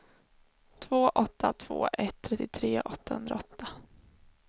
två åtta två ett trettiotre åttahundraåtta